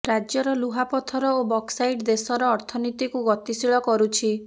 ରାଜ୍ୟର ଲୁହାପଥର ଓ ବକ୍ସସାଇଡ୍ ଦେଶର ଅର୍ଥନୀତିକୁ ଗତିଶୀଳ କରୁଛିୁ